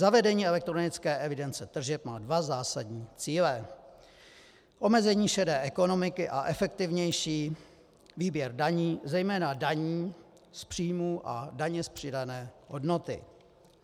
Zavedení elektronické evidence tržeb má dva zásadní cíle: omezení šedé ekonomiky a efektivnější výběr daní, zejména daní z příjmů a daně z přidané hodnoty.